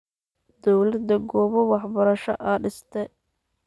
Dowladha goba waxbarasho aa disste.